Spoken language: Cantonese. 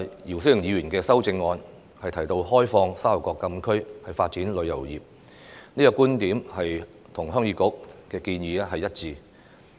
姚思榮議員的修正案提到開放沙頭角禁區發展旅遊業，這個觀點與鄉議局的建議一致。